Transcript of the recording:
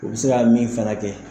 U bɛ se ka min fana kɛ